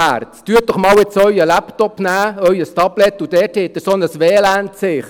Nehmen Sie doch jetzt Ihren Laptop, Ihr Tablet, und dort haben Sie jetzt so ein WLAN-Zeichen.